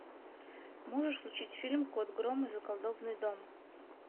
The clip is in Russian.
можешь включить фильм кот гром и заколдованный дом